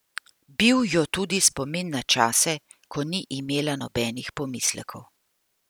Bil jo tudi spomin na čase, ko ni imela nobenih pomislekov.